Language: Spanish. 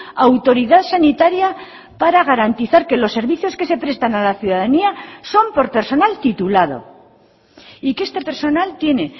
autoridad sanitaria para garantizar que los servicios que se prestan a la ciudadanía son por personal titulado y que este personal tiene